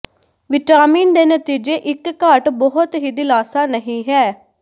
vitamin ਦੇ ਨਤੀਜੇ ਇੱਕ ਘਾਟ ਬਹੁਤ ਹੀ ਦਿਲਾਸਾ ਨਹੀ ਹੈ